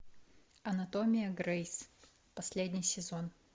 анатомия грейс последний сезон